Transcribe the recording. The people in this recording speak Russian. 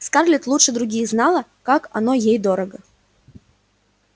скарлетт лучше других знала как оно ей дорого